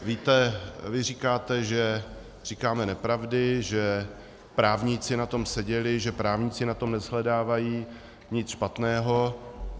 Víte, vy říkáte, že říkáme nepravdy, že právníci na tom seděli, že právníci na tom neshledávají nic špatného.